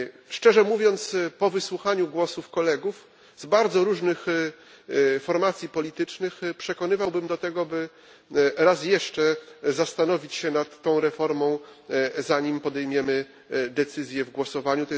Szczerze mówiąc, po wysłuchaniu głosów kolegów z bardzo różnych formacji politycznych, przekonywałbym do tego, by raz jeszcze zastanowić się nad tą reformą, zanim podejmiemy decyzję w głosowaniu.